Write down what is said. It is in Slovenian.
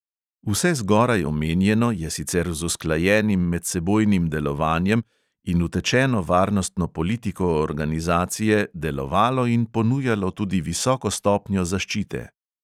Vse zgoraj omenjeno je sicer z usklajenim medsebojnim delovanjem in utečeno varnostno politiko organizacije delovalo in ponujalo tudi visoko stopnjo zaščite.